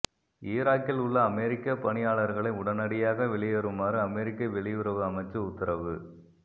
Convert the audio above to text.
ஈராக்கிலுள்ள அமெரிக்க பணியாளர்களை உடனடியாக வெளியேறுமாறு அமெரிக்க வெளியுறவு அமைச்சு உத்தரவு